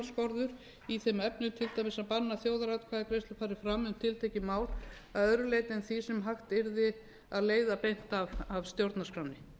efnum til dæmis að banna að þjóðaratkvæðagreiðsla fari fram um tiltekin mál að öðru leyti en því sem hægt yrði að leiða beint af stjórnarskránni